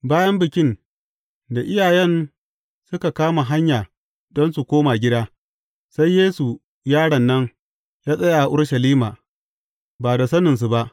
Bayan Bikin, da iyayen suka kama hanya don su koma gida, sai Yesu, yaron nan, ya tsaya a Urushalima, ba da saninsu ba.